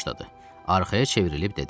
Arxaya çevrilib dedi.